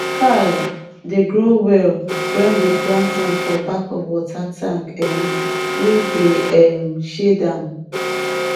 kale grow well when we plant am for back of water tank um wey dey um shade am